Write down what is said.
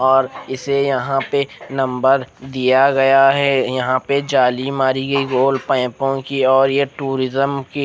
और इसे यहाँ पे नु नंबर दिया गया है यहाँ पे जाली मारी गयी और पेपो किया गया और ये टूरिस्म की--